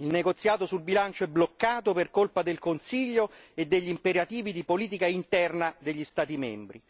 il negoziato sul bilancio è bloccato per colpa del Consiglio e degli imperativi di politica interna degli Stati membri.